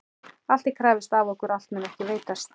Alls er krafist af okkur og allt mun okkur veitast.